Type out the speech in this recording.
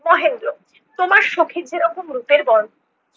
মহেন্দ্র- তোমার সখীর যেরকম রূপের বর।